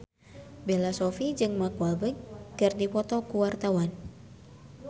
Bella Shofie jeung Mark Walberg keur dipoto ku wartawan